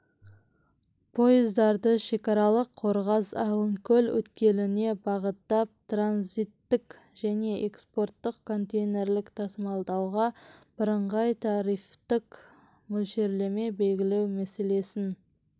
пойыздарды шекаралық қорғас-алынкөл өткеліне бағыттап транзиттік және экспорттық контейнерлік тасымалдауға бірыңғай тарифтік мөлшерлеме белгілеу мәселесін